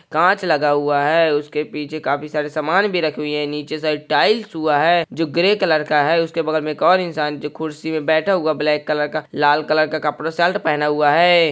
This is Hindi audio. काँच लगा हुआ है उसके पीछे काफी सारे सामान भी रखी हुई है नीचे साईड टाईल्स हुआ है जो ग्रे कलर का है उसके बगल में एक और इंसान जो कुर्सी में बैठा हुआ ब्लैक कलर का लाल कलर का कपड़ा शर्ट पहना हुआ है।